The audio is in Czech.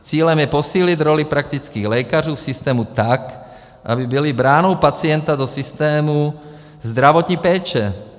Cílem je posílit roli praktických lékařů v systému tak, aby byli branou pacienta do systému zdravotní péče.